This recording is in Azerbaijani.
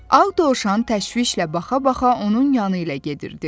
Ağ dovşan təşvişlə baxa-baxa onun yanı ilə gedirdi.